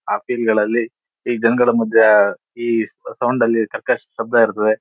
ಆಹ್ಹ್ ಫೀಲ್ಗಳಲ್ಲಿ ಈ ಜನಗಳ ಮದ್ಯ ಈ ಸೌಂಡ್ ಅಲ್ಲಿ ಕರ್ಕಶ ಶಬ್ದ ಇರುತದೆ.